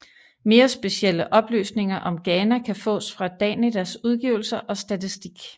Mere specielle oplysninger om Ghana kan fås fra Danidas udgivelser og statistik